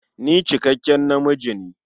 Ni cikakken namiji ne.